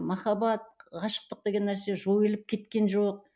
махаббат ғашықтық деген нәрсе жойылып кеткен жоқ